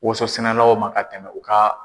Woso sɛnɛlaw ma ka tɛmɛ u ka